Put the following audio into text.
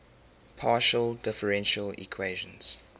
partial differential equations